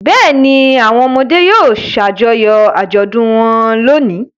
Bẹ́ẹ̀ ni, àwọn ọmọdé yóò ṣàjọyọ̀ àjọ̀dún wọn lónìí.